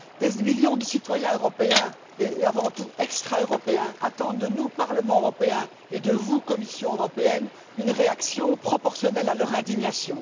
Des millions de citoyens européens, et avant tout extra européens, attendent de nous, Parlement européen, et de vous, Commission européenne, une réaction proportionnelle à leur indignation.